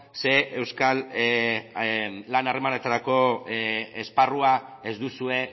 ze euskal lan harremanetarako esparrua ez duzue